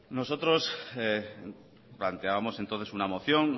nosotros planteábamos entonces una moción